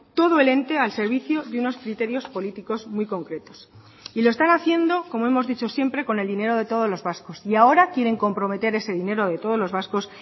todo el ente al servicio de unos criterios políticos muy concretos y lo están haciendo como hemos dicho siempre con el dinero de todos los vascos y ahora quieren comprometer ese dinero de todos los vascos